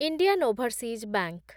Indian Overseas bank